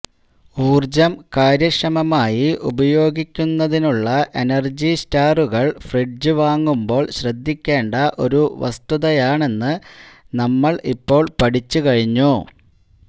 ഊർജം കാര്യക്ഷമമായി ഉപയോഗിക്കുന്നതിനുള്ള എനർജി സ്റ്റാറുകൾ ഫ്രിഡ്ജ് വാങ്ങുമ്പോൾ ശ്രദ്ധിക്കേണ്ട ഒരു വസ്തുതയാണെന്ന് നമ്മൾ ഇപ്പോൾ പഠിച്ചുകഴിഞ്ഞു